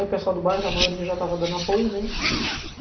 Aí o pessoal do bairro, a maioria já estava dando apoio, né?